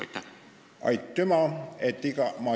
Aitüma!